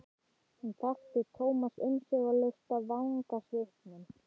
Hún þekkti Thomas umsvifalaust af vangasvipnum.